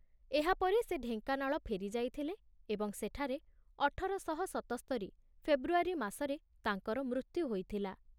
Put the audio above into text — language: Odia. ଏହାପରେ ସେ ଢେଙ୍କାନାଳ ଫେରିଯାଇଥିଲେ ଏବଂ ସେଠାରେ ଅଠର ଶହ ସତସ୍ତରି ଫେବୃଆରୀ ମାସରେ ତାଙ୍କର ମୃତ୍ୟୁ ହୋଇଥିଲା।